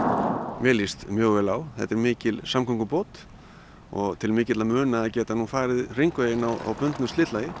mér líst mjög vel á þetta er mikil samgöngubót og til mikilla muna að geta nú farið hringveginn á bundnu slitlagi